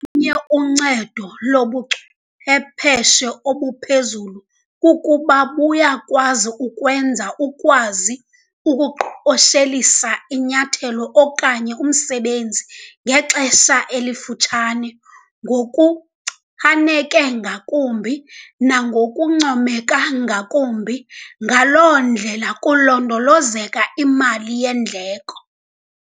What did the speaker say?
lunye uncedo lobuchwepheshe obuphezulu kukuba buya kwenza ukwazi ukuqoshelisa inyathelo okanye umsebenzi ngexesha elifutshane, ngokuchaneke ngakumbi nangokuncomeka ngakumbi, ngaloo ndlela kulondolozeka imali yeendleko.